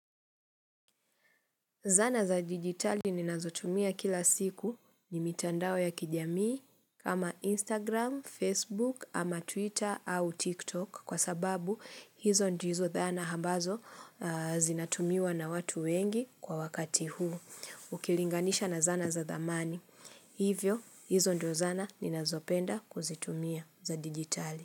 Zana za dijitali ninazotumia kila siku ni mitandao ya kijamii kama Instagram, Facebook ama Twitter au TikTok kwa sababu hizo ndizo hizo dhana ambazo zinatumiwa na watu wengi kwa wakati huu. Ukilinganisha na zana za dhamani. Hivyo hizo ndio zana ninazopenda kuzitumia za digitali.